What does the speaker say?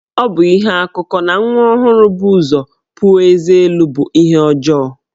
Ọ bụ ihe akụkọ na nwa ọhụrụ bu ụzọ puo ezé elu bụ ihe ọjọọ.